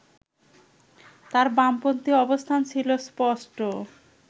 তাঁর বামপন্থী অবস্থান ছিল স্পষ্ট